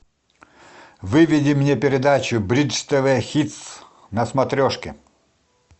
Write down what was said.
выведи мне передачу бридж тв хитс на смотрешке